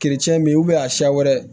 min a siya wɛrɛ